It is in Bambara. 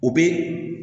O bɛ